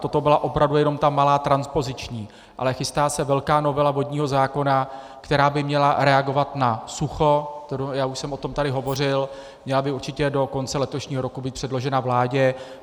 Toto byla opravdu jenom ta malá transpoziční, ale chystá se velká novela vodního zákona, která by měla reagovat na sucho, já už jsem o tom tady hovořil, měla by určitě do konce letošního roku být předložena vládě.